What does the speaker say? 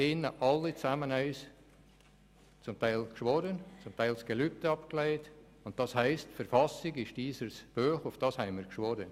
Sie alle haben hier drin zum Teil geschworen, zum Teil das Gelübde abgelegt, und das heisst, dass die Verfassung unser Höchstes ist, darauf haben wir geschworen.